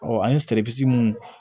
an ye mun